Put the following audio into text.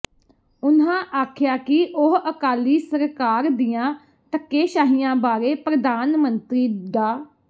ਉਨ੍ਹਾਂ ਆਖਿਆ ਕਿ ਉਹ ਅਕਾਲੀ ਸਰਕਾਰ ਦੀਆਂ ਧੱਕੇਸ਼ਾਹੀਆਂ ਬਾਰੇ ਪ੍ਰਧਾਨ ਮੰਤਰੀ ਡਾ